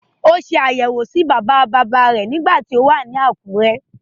Ó se àbẹ̀wọ̀ sí bàbáabàbáa rẹ̀ nígbà tí ó wà ní Àkúrẹ́.